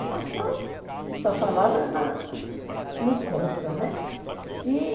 O jornal só falava na no contra, né?